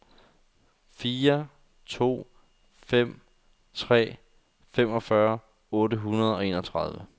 fire to fem tre femogfyrre otte hundrede og enogtredive